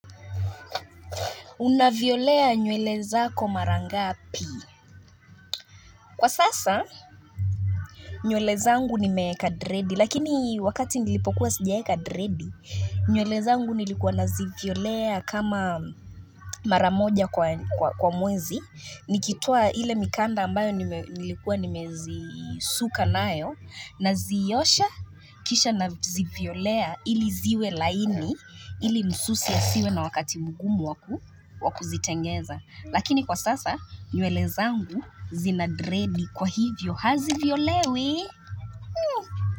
Unavyolea nywele zako marangapi. Kwa sasa, nywele zangu nimewekadredi, lakini wakati nilipokuwa sijawe kadredi, nywele za ngu nilikuwa naziviolea kama maramoja kwa mwezi, nikitoa ile mikanda ambayo nilikuwa nimezi suka nayo, naziosha kisha naziviolea ili ziwe laini, ili msusi asiwe na wakati mgumu waku wakuzitengeza. Lakini kwa sasa nywele zangu zinadredi kwa hivyo hazivyo lewi.